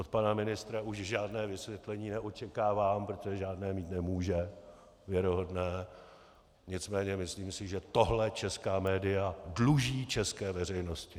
Od pana ministra už žádné vysvětlení neočekávám, protože žádné mít nemůže, věrohodné, nicméně si myslím, že tohle česká média dluží české veřejnosti.